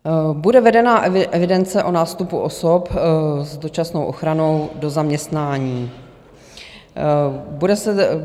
Bude vedena evidence o nástupu osob s dočasnou ochranou do zaměstnání.